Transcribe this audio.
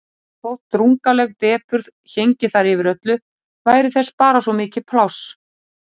Og þótt drungaleg depurð héngi þar yfir öllu væri þar bara svo mikið pláss.